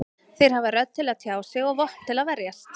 Þeir hafa rödd til að tjá sig og vopn til að verjast.